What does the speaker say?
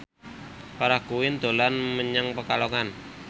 Farah Quinn dolan menyang Pekalongan